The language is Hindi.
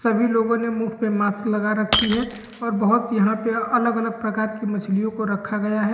सभी लोगो ने मुँह पे मास्क लगा रखी है और बहोत यहाँ पे अलग-अलग प्रकार की मच्छलियों को रखी गया है।